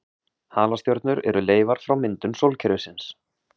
Halastjörnur eru leifar frá myndun sólkerfisins.